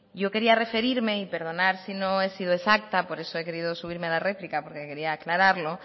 yo quería referirme y perdonad si no he sido exacta por eso he querido subirme a la réplica porque quería aclararlo